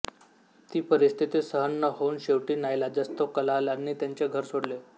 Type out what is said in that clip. ती परिस्थिती सहन न होऊन शेवटी नाईलाजास्तव कलालांनी त्याचे घर सोडले